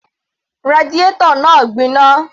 Radiator náà gbiná